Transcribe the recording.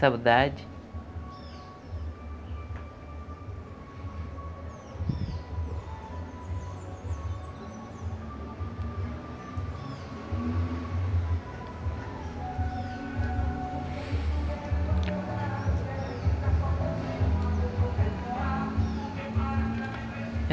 saudade.